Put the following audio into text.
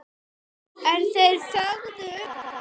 En þeir þögðu um það.